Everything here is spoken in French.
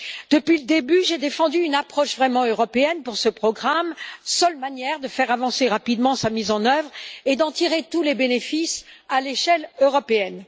Depuis le début, j'ai défendu une approche vraiment européenne pour ce programme, seule manière de faire avancer rapidement sa mise en œuvre et d'en tirer tous les bénéfices à l'échelle européenne.